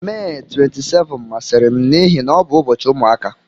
Mee 27 masịrị m n'ihi na ọ bụ ụbọchị ụmụaka.